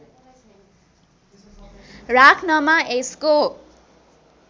राख्नमा यसको